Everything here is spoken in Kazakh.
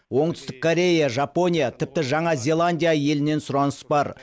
оңтүстік корея жапония тіпті жаңа зеландия елінен сұраныс бар